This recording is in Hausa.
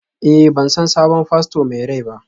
Eh, ban san sabon fasto mai rai ba?